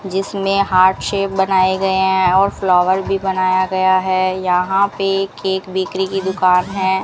जिसमें heart shape बनाए गए हैं और फ्लावर भी बनाया गया है यहां पे केक बेकरी की दुकान है।